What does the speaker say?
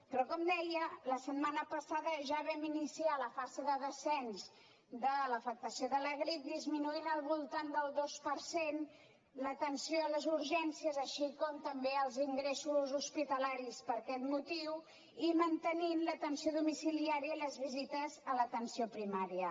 però com deia la setmana passada ja vam iniciar la fase de descens de l’afectació de la grip va disminuir al voltant del dos per cent l’atenció a les urgències així com també els ingressos hospitalaris per aquest motiu i es va mantenir l’atenció domiciliària i les visites a l’atenció primària